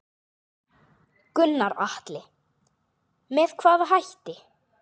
Gunnar Atli: Með hvaða hætti?